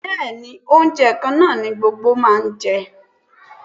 Bẹ́ẹ̀ni, oúnjẹ kan náà ni gbogbo máa jẹ